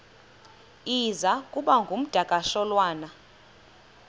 iza kuba ngumdakasholwana